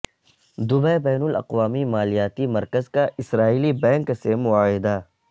Dubai بین الاقوامی مالیاتی مرکز کا اسرائیلی بینک سے معاہدہ